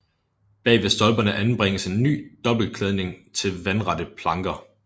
Bag ved stolperne anbringes en ny dobbelt klædning af vandrette planker